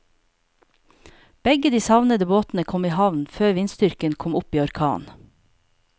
Begge de savnede båtene kom i havn før vindstyrken kom opp i orkan.